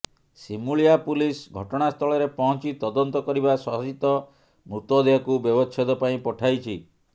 Simulia police ଘଟଣାସ୍ଥଳରେ ପହଞ୍ଚି ତଦନ୍ତ କରିବା ସହିତ ମୃତଦେହକୁ ବ୍ୟବଚ୍ଛେଦ ପାଇଁ ପଠାଇଛି